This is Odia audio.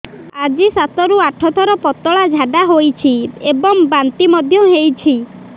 ଆଜି ସାତରୁ ଆଠ ଥର ପତଳା ଝାଡ଼ା ହୋଇଛି ଏବଂ ବାନ୍ତି ମଧ୍ୟ ହେଇଛି